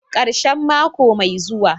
karshen mako mai zuwa.